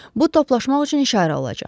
Bu toplaşmaq üçün işarə olacaq.